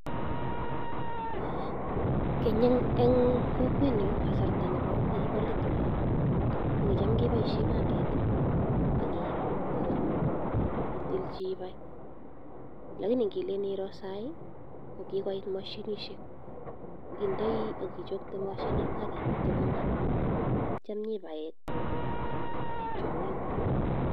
Keny en kokwenyun kasarta nekibo let olon, kokicham keboishen panget ak ketilchi bai. Lakini ngiroo sai ko kigoit mashinishek, indei ak ichokto moshinit ak imete kong'aa, ak kityo inyoibaen tuguk anan ibae tiong'ik guk.